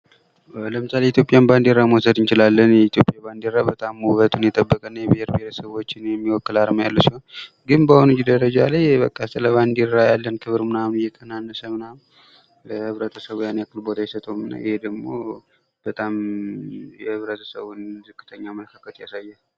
ለምሳሌ የኢትዮጵያን ባንዲራ መውሰድ እንችላለን የኢትዮጵያ ባንዲራ በጣም ውበቱን የጠበቀ እና የብሔር ብሔረሰቦችን የሚወክል አርማ ያለ ሲሆን ግን በአሁኑ ደረጃ ላይ በቃ ስለ ባንዲራ ያለን ክብር ምናምን እየቀናነሰ ምናምን ህብረተሰቡ ያን ያክል ቦታ አይሰጠውም ይህ ደግሞ በጣም የህብረተሰቡን ዝቅተኛ አመለካከት ያሳያል ።